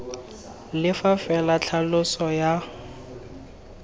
le fa fela tlhaloso ya